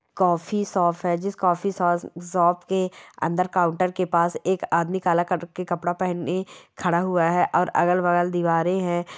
Coffee shop है जिस coffee शोज शॉप के अंदर काउंटर के पास एक आदमी काला कलर का कपड़ा पहने खड़ा हुआ है और अगल- बगल दीवारें हैं।